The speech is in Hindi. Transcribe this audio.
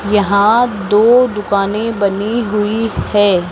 यहां दो दुकानें बनी हुई हैं।